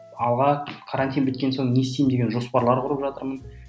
алға карантин біткен соң не істеймін деген жоспарлар құрып жатырмын